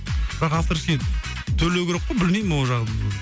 бірақ авторский төлеу керек қой білмеймін ол жағын